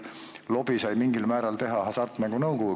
Lobi sai mingil määral teha Hasartmängumaksu Nõukogu.